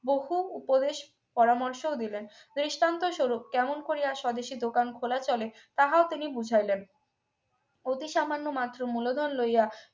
বহু উপদেশ পরামর্শ দিলেন দৃষ্টান্ত স্বরূপ কেমন করিয়া স্বদেশী দোকান খোলা চলে তাহাও তিনি বুঝাইলেন অতি সামান্য মাত্র মূলধন লইয়া